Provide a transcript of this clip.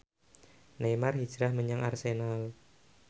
Neymar hijrah menyang Arsenal